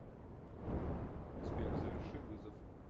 сбер заверши вызов